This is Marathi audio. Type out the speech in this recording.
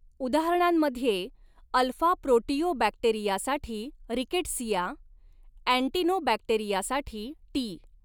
उदाहरणांमध्ये, अल्फा प्रोटिओबॅक्टेरियासाठी रिकेटसिया, अँटिनोबॅक्टेरियासाठी टी.